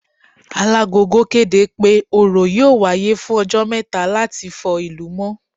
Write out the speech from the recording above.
Alagogo kéde pé Òrò yóò wáyé fún ọjọ́ mẹ́ta láti fọ ìlú mọ́